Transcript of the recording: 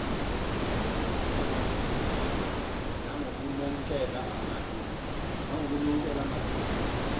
nangoknonkela malu ngu